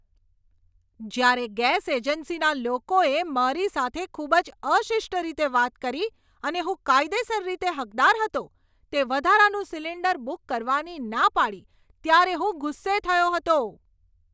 જ્યારે ગેસ એજન્સીના લોકોએ મારી સાથે ખૂબ જ અશિષ્ટ રીતે વાત કરી અને હું કાયદેસર રીતે હકદાર હતો તે વધારાનું સિલિન્ડર બુક કરવાની ના પાડી ત્યારે હું ગુસ્સે થયો હતો.